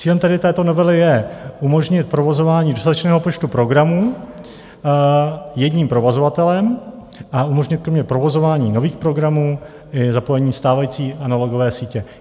Cílem tedy této novely je umožnit provozování dostatečného počtu programů jedním provozovatelem a umožnit kromě provozování nových programů i zapojení stávající analogové sítě.